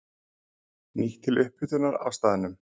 Nýtt til upphitunar á staðnum.